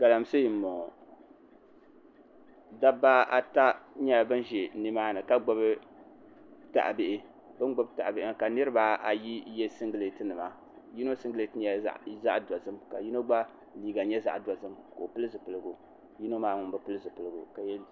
Galamsee n boŋo dabba ata nyɛla bin ʒi nimaani ka gbubi tahabihi bin gbubi tahabihi ŋo ka niraba ayi yɛ singirɛti nima yino singirɛti nyɛla zaɣ dozim ka yino gba liiga nyɛ zaɣ dozim ka o pili zipiligu yino maa ŋun bi pili zipiligu